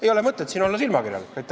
Ei ole mõtet olla silmakirjalik.